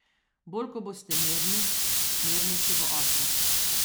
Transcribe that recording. Bolj ko boste mirni, mirnejši bo otrok.